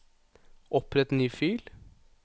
Opprett ny fil